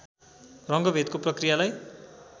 रङ्गभेदको प्रक्रियालाई